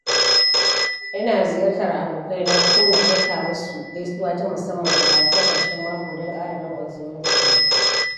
Ina ziyartar abokai na ko ma aika musu gaisuwa ta musamman a ranakun ƙarshen mako don ƙara danƙon zumuncinmu.